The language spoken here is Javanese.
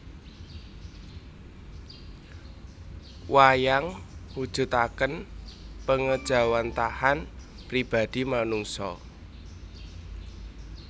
Wayang mujudaken pangéjawantahan pribadi manungsa